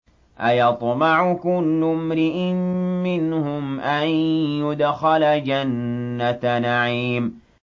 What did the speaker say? أَيَطْمَعُ كُلُّ امْرِئٍ مِّنْهُمْ أَن يُدْخَلَ جَنَّةَ نَعِيمٍ